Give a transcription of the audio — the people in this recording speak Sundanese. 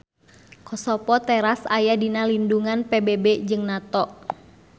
Kosovo teras aya dina lindungan PBB jeung NATO.